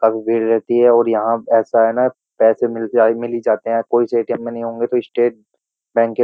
काफी भीड़ रहती है और यहाँ ऐसा है ना पैसे मिलते आ मिल ही जाते हैं। कोई से ए.टी.एम. में नहीं होंगे तो स्टेट बैंक के --